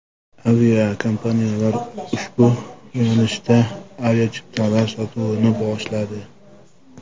Aviakompaniyalar ushbu yo‘nalishda aviachiptalar sotuvini boshladi.